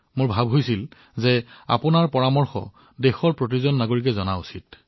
মই ভাবিছিলো দেশৰ সকলো নাগৰিকে আপোনাৰ মতামতৰ বিষয়ে জনা উচিত